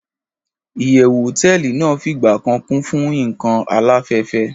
iyewu hoteeli nàá figba kan Kun fun ikan alafefe